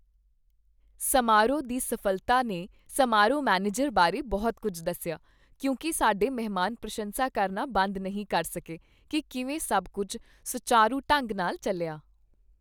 ਸਮਾਰੋਹ ਦੀ ਸਫ਼ਲਤਾ ਨੇ ਸਮਾਰੋਹ ਮੈਨੇਜਰ ਬਾਰੇ ਬਹੁਤ ਕੁੱਝ ਦੱਸਿਆ ਕਿਉਂਕਿ ਸਾਡੇ ਮਹਿਮਾਨ ਪ੍ਰਸ਼ੰਸਾ ਕਰਨਾ ਬੰਦ ਨਹੀਂ ਕਰ ਸਕੇ ਕੀ ਕਿਵੇਂ ਸਭ ਕੁੱਝ ਸੁਚਾਰੂ ਢੰਗ ਨਾਲ ਚੱਲਿਆ।